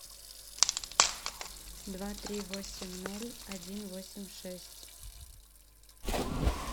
два три восемь ноль один восемь шесть